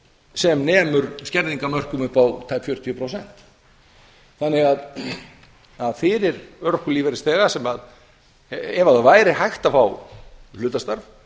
sem nemur skerðingarmörkum upp á tæp fjörutíu prósent fyrir örorkulífeyrisþega ef hægt væri að fá hlutastarf